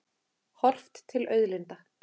Horft til auðlinda.